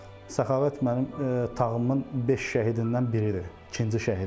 Səxavət mənim tağımın beş şəhidindən biri idi, ikinci şəhidi də.